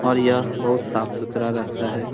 और यह बहुत साफ़ सुथरा रहता हैं।